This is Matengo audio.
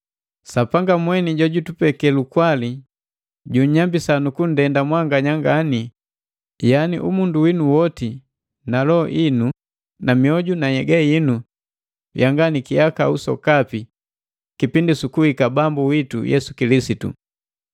Sapanga mweni jojutupeke lukwali junnyambisa nu kunndenda mwanganya ngani yaani umundu winu woti na loho inu na mioju na nhyega yinu yanga ni kihakau sokapi kipindi su kuhika Bambu witu Yesu Kilisitu.